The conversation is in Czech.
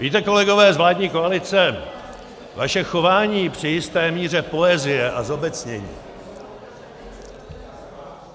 Víte, kolegové z vládní koalice, vaše chování při jisté míře poezie a zobecnění...